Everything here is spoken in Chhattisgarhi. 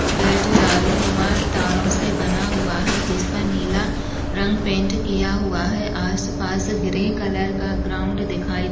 गेट जाली नुमा तारो से बना हुआ है जिसपे नीला रंग पैंट किया हुआ है। आस पास ग्रे कलर का ग्राउंड दिखाई--